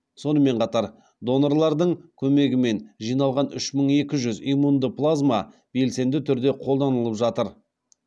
сонымен қатар донорлардың көмегімен жиналған үш мың екі жүз иммунды плазма белсенді түрде қолданылып жатыр